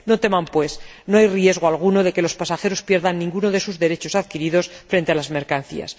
No teman, pues, no hay riesgo alguno de que los pasajeros pierdan ninguno de sus derechos adquiridos frente a las mercancías.